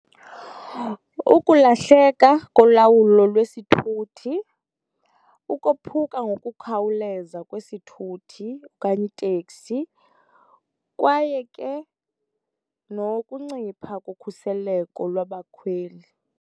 Ukulahleka kolawulo lwesithuthi, ukophuka ngokukhawuleza kwesithuthi okanye iteksi, kwaye ke nokuncipha kokhuseleko lwabakhweli.